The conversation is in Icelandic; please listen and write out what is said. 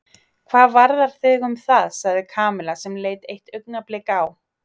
Hvað varðar þig um það? sagði Kamilla sem leit eitt augnablik á